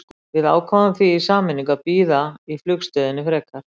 Við ákváðum því í sameiningu að bíða í flugstöðinni frekar.